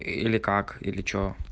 или как или что